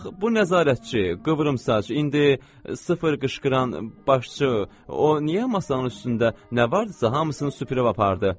Bax bu nəzarətçi, qıvrımsaç, indi sıfır qışqıran başçı, o niyə masanın üstündə nə varsa hamısını süpürüb apardı?